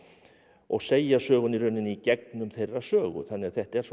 og segja söguna í rauninni í gegnum þeirra sögu þannig að þetta er svona